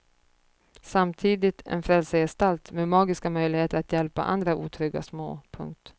Samtidigt en frälsargestalt med magiska möjligheter att hjälpa andra otrygga små. punkt